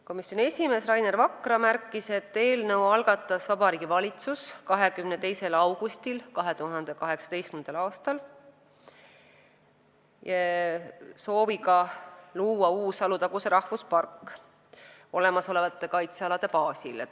Komisjoni esimees Rainer Vakra märkis, et eelnõu algatas Vabariigi Valitsus 22. augustil 2018. aastal sooviga luua Alutaguse rahvuspark olemasolevate kaitsealade baasil.